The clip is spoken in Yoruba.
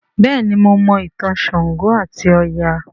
béèni mọ Mo ìtàn ṣàngó ati Oya.